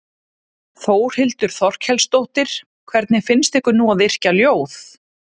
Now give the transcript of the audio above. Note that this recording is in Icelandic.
Þórhildur Þorkelsdóttir: Hvernig finnst ykkur nú að yrkja ljóð?